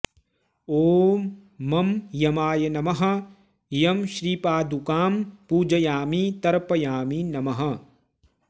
ॐ मं यमाय नमः यमश्रीपादुकां पूजयामि तर्पयामि नमः